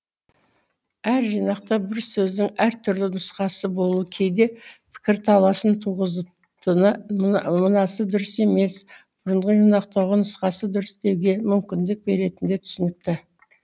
әр жинақта бір сөздің әр түрлі нұсқасы болуы кейде пікірталасын туғызып мынасы дұрыс емес бұрынғы жинақтағы нұсқасы дұрыс деуге мүмкіндік беретіні де түсінікті